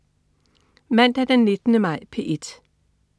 Mandag den 19. maj - P1: